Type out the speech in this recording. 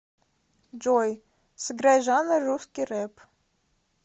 джой сыграй жанр русский реп